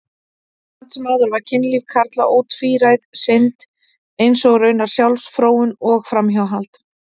Samt sem áður var kynlíf karla ótvíræð synd, eins og raunar sjálfsfróun og framhjáhald.